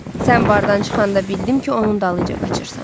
Sən bardan çıxanda bildim ki, onun dalıyca qaçırsan.